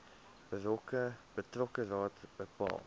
betrokke raad bepaal